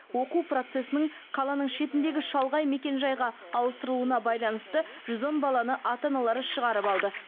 оқу процесінің қаланың шетіндегі шалғай мекенжайға ауыстырылуына байланысты жүз он баланы ата аналары шығарып алды